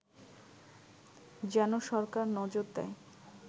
যেন সরকার নজর দেয়